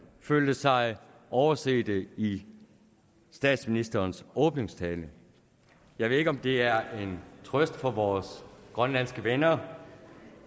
følte sig overset i statsministerens åbningstale jeg ved ikke om det er en trøst for vores grønlandske venner